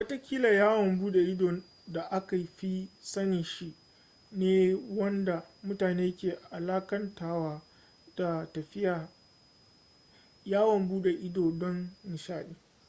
watakila yawon bude ido da aka fi sani shi ne wanda mutane ke alakantawa da tafiya yawon bude ido don nishaɗi